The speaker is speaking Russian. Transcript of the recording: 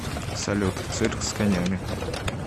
салют цирк с конями